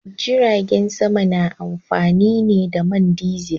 Jiragen sama na amfani ne da man dizil.